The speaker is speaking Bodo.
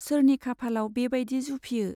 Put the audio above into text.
सोरनि खाफालाव बे बाइदि जुफियो !